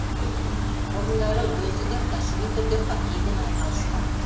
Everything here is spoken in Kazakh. бұрындары өзі де кәсіби түрде хоккеймен айналысқан